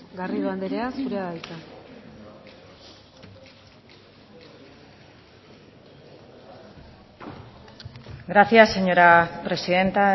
garrido anderea zurea da hitza gracias señora presidenta